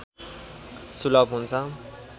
सुलभ हुन्छ